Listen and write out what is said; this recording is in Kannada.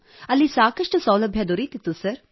ಅಲ್ಲಿ ಸಾಕಷ್ಟು ಸೌಲಭ್ಯ ದೊರೆಯುತ್ತಿತ್ತು ಸರ್